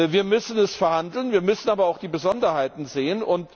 Wir müssen es verhandeln, wir müssen aber auch die Besonderheiten sehen.